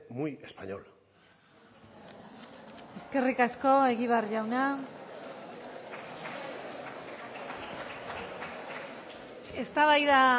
muy español eskerrik asko egibar jauna eztabaida